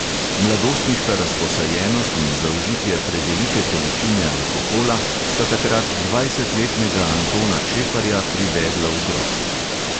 Mladostniška razposajenost in zaužitje prevelike količine alkohola sta takrat dvajsetletnega antona čeparja privedla v grob.